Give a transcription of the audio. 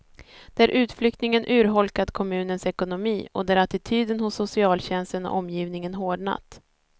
Där utflyttningen urholkat kommunens ekonomi och där attityden hos socialtjänsten och omgivningen hårdnat.